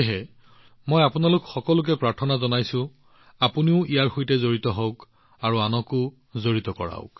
সেয়েহে মই আপোনালোকক ইয়াত যোগদান কৰিবলৈ আৰু আনকো যোগ দিবলৈ অনুৰোধ জনাইছো